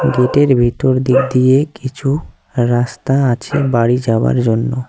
গেটের ভিতর দিক দিয়ে কিছু রাস্তা আছে বাড়ি যাওয়ার জন্য।